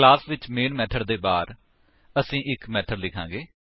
class ਵਿੱਚ main method ਦੇ ਬਾਹਰ ਅਸੀ ਇੱਕ ਮੇਥਡ ਲਿਖਾਂਗੇ